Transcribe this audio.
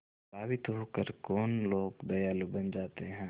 प्रभावित होकर कौन लोग दयालु बन जाते हैं